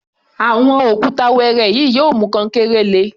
Àwọn òkúta wẹẹrẹ yìí yóò mú kankéré le.